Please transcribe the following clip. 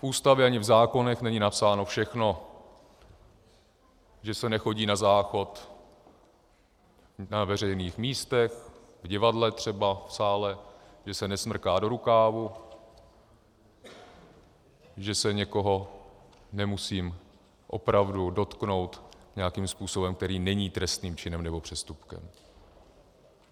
V Ústavě ani v zákonech není napsáno všechno, že se nechodí na záchod na veřejných místech, v divadle třeba, v sále, že se nesmrká do rukávu, že se někoho nemusím opravdu dotknout nějakým způsobem, který není trestním činem nebo přestupkem.